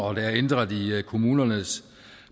og der er ændret i kommunernes